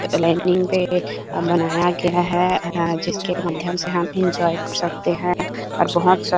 lining पे अ बनाया गया है ए जिसके माध्यम से हम एन्जॉय कर सकते है और बहोत सारी--